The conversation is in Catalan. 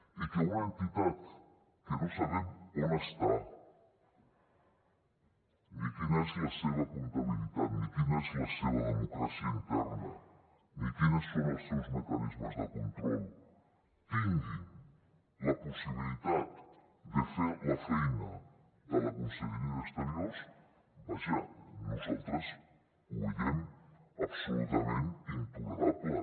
i que una entitat que no sabem on està ni quina és la seva comptabilitat ni quina és la seva democràcia interna ni quins són els seus mecanismes de control tingui la possibilitat de fer la feina de la conselleria d’exteriors vaja nosaltres ho veiem absolutament intolerable